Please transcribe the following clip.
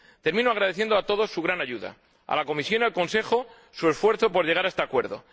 Termino agradeciendo a todos su gran ayuda, y a la Comisión y al Consejo, su esfuerzo por llegar a este acuerdo.